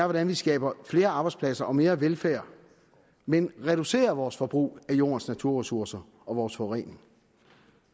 hvordan vi skaber flere arbejdspladser og mere velfærd men reducerer vores forbrug af jordens naturressourcer og vores forurening